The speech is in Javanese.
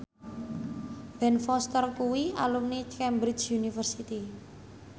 Ben Foster kuwi alumni Cambridge University